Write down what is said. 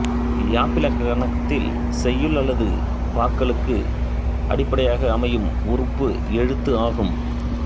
யாப்பிலக்கணத்தில் செய்யுள் அல்லது பாக்களுக்கு அடிப்படையாக அமையும் உறுப்பு எழுத்து ஆகும்